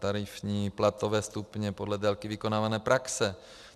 Tarifní platové stupně podle délky vykonávané praxe.